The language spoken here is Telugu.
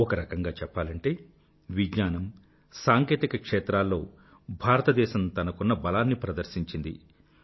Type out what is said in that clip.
ఒకరకంగా చెప్పాలంటే విజ్ఞానం సాంకేతికత క్షేత్రాల్లో భారతదేశం తనకున్న బలాన్ని ప్రదర్శించింది